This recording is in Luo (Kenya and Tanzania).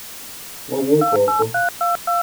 Wawuok oko! â€" gi